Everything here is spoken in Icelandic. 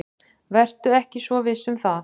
Vertu ekki svo viss um það.